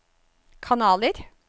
kanaler